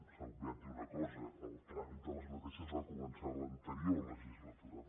s’ha obviat dir una cosa el tràmit d’aquestes lleis va començar en l’anterior legis·latura